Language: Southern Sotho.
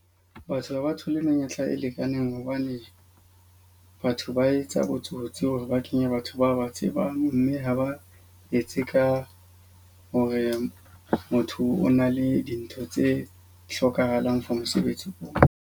Batho ha ba thole menyetla e lekaneng hobane batho ba etsa botsotsi hore ba kenye batho ba ba tsebang. Mme ha ba etse ka hore motho o na le dintho tse hlokahalang for mosebetsi oo.